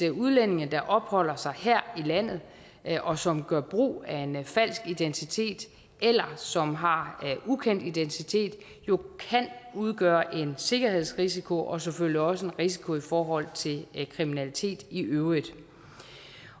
at udlændinge der opholder sig her i landet og som gør brug af en falsk identitet eller som har ukendt identitet jo kan udgøre en sikkerhedsrisiko og selvfølgelig også en risiko i forhold til kriminalitet i øvrigt